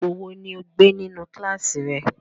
Ipo wo ni o gbe ninu kilasi rẹ?